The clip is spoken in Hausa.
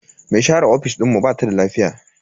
Me share ofis dinmu bata da lafiya.